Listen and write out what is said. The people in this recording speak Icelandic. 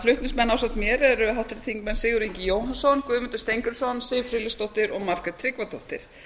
flutningsmenn ásamt mér eru háttvirtir þingmenn sigurður ingi jóhannsson guðmundur steingrímsson siv friðleifsdóttir og margrét tryggvadóttir